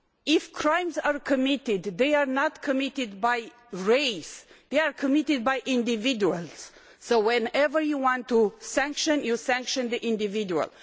If crimes are committed, they are not committed by race, they are committed by individuals, so whenever you want to penalise, you penalise the individual.